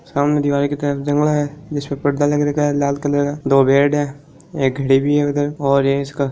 सामने दीवार लाल कलर का दो बेड है एक घडी भी है और इस --